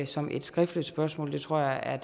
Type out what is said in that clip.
som et skriftligt spørgsmål det tror jeg er